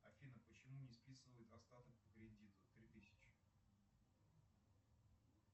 афина почему не списывают остаток по кредиту три тысячи